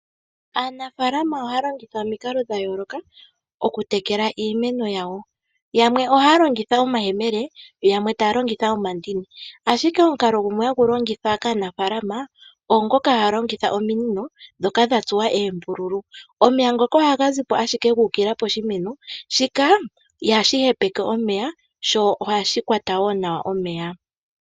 Aanafalama ohaya longitha omikalo dha yooloka okutekela iimeno yawo. Yamwe ohaya longitha omayemele, yamwe taa longitha omandini. Ashike omukalo gumwe hagu longithwa kaanafalama oongoka haa longitha ominino dhoka dha tsuwa oombululu. Omeya ngoka ohaga zipo ashike gu ukilila poshimeno, shika ihashi hepeke omeya, sho ohashi kwata wo nawa omeya.